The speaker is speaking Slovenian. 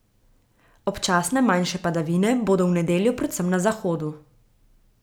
Občasne manjše padavine bodo v nedeljo predvsem na zahodu.